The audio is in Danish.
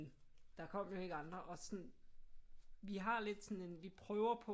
Der kom jo ikke andre og sådan vi har lidt sådan en vi prøver på